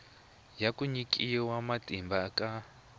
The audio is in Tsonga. ya ku nyikiwa matimba ka